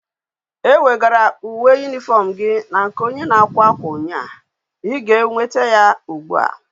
E wegaram uwe uniform gi na nke onye na akwa akwa unya,I ga enweta ya ugbua